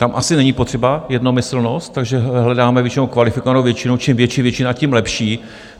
Tam asi není potřeba jednomyslnost, takže hledáme většinou kvalifikovanou většinu, čím větší většina, tím lepší.